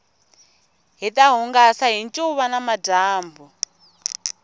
hita hungasa hi ncuva namadyambu